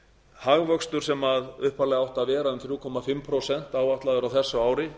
hagvöxtur sem upphaflega átti að vera um þrjú og hálft prósent áætlaður á þessu ári